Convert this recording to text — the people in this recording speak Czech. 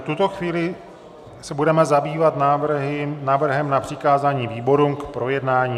V tuto chvíli se budeme zabývat návrhem na přikázání výborům k projednání.